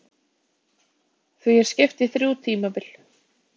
Því er skipt í þrjú tímabil.